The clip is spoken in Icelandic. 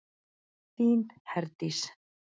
Þín Herdís.